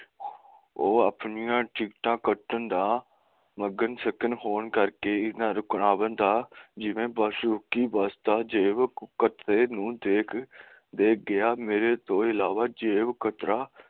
ਉਹ ਆਪਣੀਆਂ ਟਿਕਟਾਂ ਕੱਟਣ ਦਾ ਮਗਨ ਸ਼ਗਨ ਹੋਣ ਕਰਕੇ ਰੁਕਵਾ ਨਾ ਪਾਂਦਾ ਜਿਵੇ ਹੀ ਬੱਸ ਰੁੱਕੀ ਬੱਸ ਦਾ ਜੇਬ ਕਚਰੇ ਨੂੰ ਦਿੱਖ ਗਿਆ ਮੇਰੇ ਅਲਾਵਾ ਜੇਬ ਕਤਰਾ